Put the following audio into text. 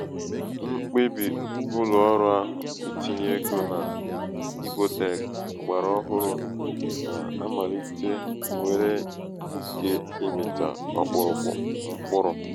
mkpebì ụlọ̀ọrụ̄ ahụ̀ itinye egō na ibotech ọ̀gbàrà ọhụrụ̄ na-amàlite nwèrè ike ịmị̀tā ọkpụ̀rụ̀kpụ̀ mkpụrụ